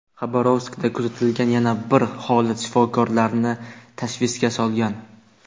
Xabarovskda kuzatilgan yana bir holat shifokorlarni tashvishga solgan.